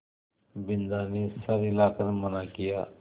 बिन्दा ने सर हिला कर मना किया